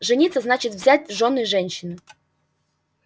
жениться значит взять в жены женщину